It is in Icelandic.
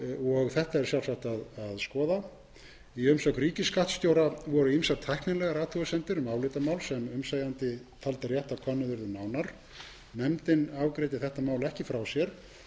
niðurhals þetta er sjálfsagt að skoða í umsögn ríkisskattstjóra voru ýmsar tæknilegar athugasemdir um álitamál sem umsegjandi taldi rétt að könnuð yrði nánar nefndin afgreiddi þetta mál ekki frá sér en ræddi efni þess í